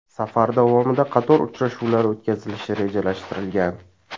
Safar davomida qator uchrashuvlar o‘tkazilishi rejalashtirilgan .